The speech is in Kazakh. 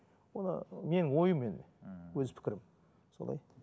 ол менің ойым енді өз пікірім солай